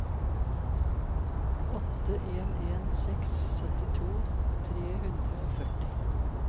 åtte en en seks syttito tre hundre og førti